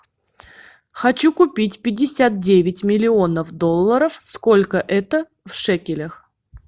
хочу купить пятьдесят девять миллионов долларов сколько это в шекелях